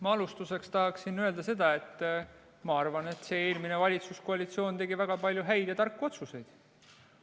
Ma alustuseks tahaksin öelda, et ma arvan, et eelmine valitsuskoalitsioon tegi väga palju häid ja tarku otsuseid.